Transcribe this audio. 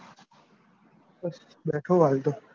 બસ બેઠો હું હાલ તો.